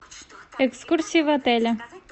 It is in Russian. экскурсия в отеле